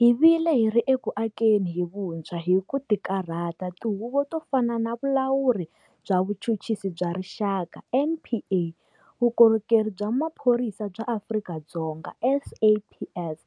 Hi vile hi ri eku akeni hi vuntshwa hi ku tikarhata tihuvo to fana na Vulawuri bya Vuchuchisi bya Rixaka, NPA, Vukorhokeri bya Maphorisa bya Afrika-Dzonga, SAPS,